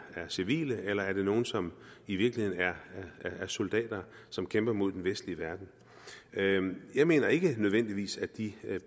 civile eller er det nogle som i virkeligheden er soldater som kæmper mod den vestlige verden jeg mener ikke nødvendigvis at de